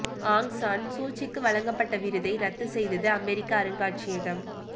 ஆங் San சூச்சிக்கு வழங்கப்பட்ட விருதை ரத்து செய்தது அமெரிக்க அருங்காட்சியகம்